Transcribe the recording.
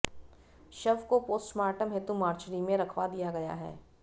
शव को पोस्टमार्टम हेतु मार्चेरी में रखवा दिया गया है